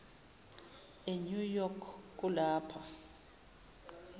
enew york kulapha